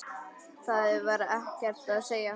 Það var ekkert að segja.